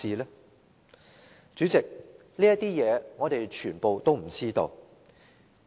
代理主席，這些事情我們全都不知道。